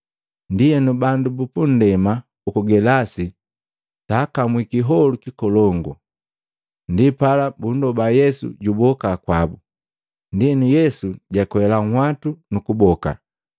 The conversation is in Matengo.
Ndienu bandu bu nndema uku Gelasi saakamwi kiholu kikolongu. Ndipala bundoba Yesu juboka kwabu, ndienu Yesu jakwela munhwatu, nu kuboka.